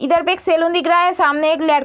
इधर पे एक सैलून दिख रहा है सामने एक लड़ --